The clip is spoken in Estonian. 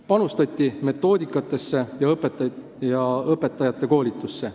Panustati metoodikasse ja õpetajate koolitusse.